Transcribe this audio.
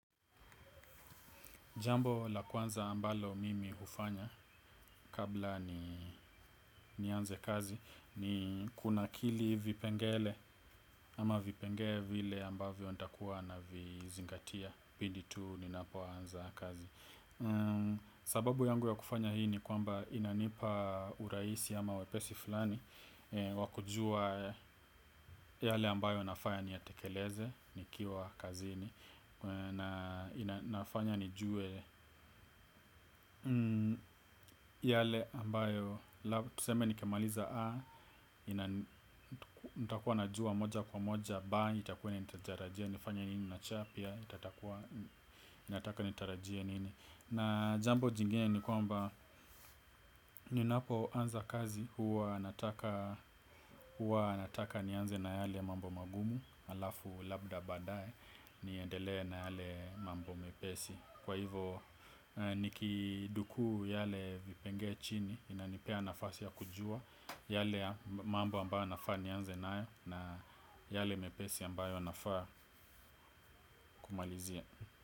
Jambo la kwanza ambalo mimi hufanya kabla ni anze kazi ni kuna kili vipengele ama vipengee vile ambavyo nita kuwa na vizingatia. Pindi tu ni napo anza kazi sababu yangu ya kufanya hii ni kwamba inanipa urahisi ama wepesi fulani. Wakujua yale ambayo nafaya niyatekeleze ni kiwa kazini na inafanya nijue yale ambayo tuseme ni nikimaliza A Itakuwa na jua moja kwa moja B itakuwa inanitajarajia. Nifanye nini na C Itatakuwa inataka nitarajia nini na jambo jingeni ni kwamba ninapo anza kazi huwa nataka. Huwa nataka ni anze na yale mambo magumu alafu labda baadae niendele na yale mambo mepesi kwa hivo nikidukuu yale vipengee chini inanipea nafasi ya kujua. Yale mambo ambayo nafaa ni anze nayo na yale mepesi ambayo nafaa kumalizia.